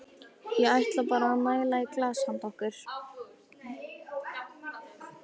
Ég ætla bara að næla í glas handa okkur.